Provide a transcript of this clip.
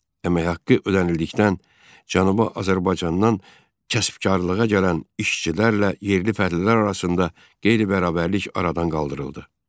Əmək haqqı ödənildikdən, Cənubi Azərbaycandan kəsbkarlığa gələn işçilərlə yerli fəhlələr arasında qeyri-bərabərlik aradan qaldırıldı.